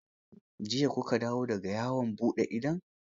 Jiya ku ka dawo da ga yawon buɗe idon?